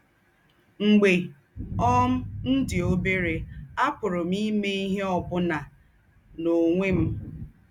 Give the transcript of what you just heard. “ M̀gbè um m̀ dì óbèrè, àpùrù m̀ ímè íhe ọ́ bùnà n’ònwè m̀. ”